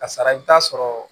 Ka sara i bɛ taa sɔrɔ